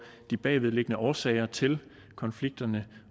de bagvedliggende årsager til konflikterne